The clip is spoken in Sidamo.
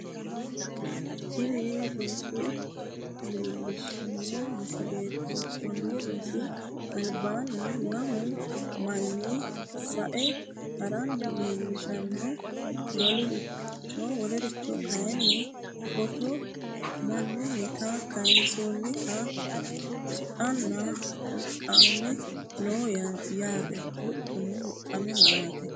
tini roso leellishshanno misileeti konni rosi albaanni lamu manni sae haranna leellishshanno waalchoho kayeenni footo mannunnita kayeensoonnite huxxano huxxame no yaate